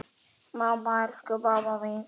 Mamma, elsku mamma mín.